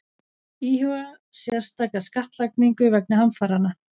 Íhuga sérstaka skattlagningu vegna hamfaranna